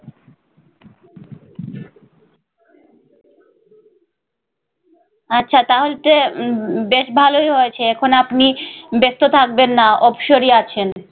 আচ্ছা তাহলে তো উম বেশ ভালই হয়েছে এখন আপনি ব্যস্ত থাকবেন না অবসরই আছেন ।